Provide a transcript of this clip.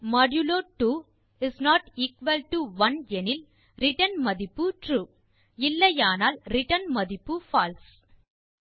n modulo 2 is not equal to 1 எனில் return மதிப்பு true இல்லையானால் ரிட்டர்ன் மதிப்பு பால்சே